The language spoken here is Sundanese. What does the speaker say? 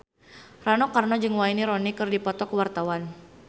Rano Karno jeung Wayne Rooney keur dipoto ku wartawan